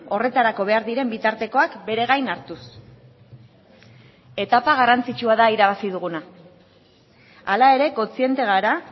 horretarako behar diren bitartekoak bere gain hartuz etapa garrantzitsua da irabazi duguna hala ere kontziente gara